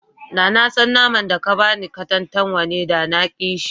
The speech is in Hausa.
Da na san naman da ka ba ni katantanwa ne, da na ƙi shi.